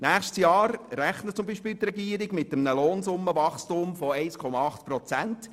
Für nächstes Jahr beispielsweise rechnet die Regierung mit einem Lohnsummenwachstum von 1,8 Prozent.